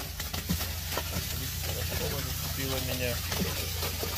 клип пирожкова зацепила меня